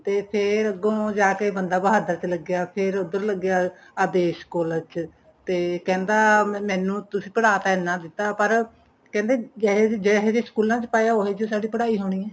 ਤੇ ਫੇਰ ਅੱਗੋ ਜਾ ਕੇ ਬੰਦਾ ਬਹਾਦਰ ਚ ਲੱਗਿਆ ਫੇਰ ਉੱਧਰ ਲੱਗਿਆ ਅਬੇਸ਼ college ਚ ਤੇ ਕਹਿੰਦਾ ਮੈਨੂੰ ਪੜ੍ਹਾ ਤਾਂ ਇੰਨਾ ਦਿੱਤਾ ਪਰ ਕਹਿੰਦੇ ਜਿਹ ਜੇ ਸਕੂਲਾ ਚ ਪਾਇਆ ਉਹ ਜੀ ਸਾਡੀ ਪੜ੍ਹਾਈ ਹੋਣੀ ਏ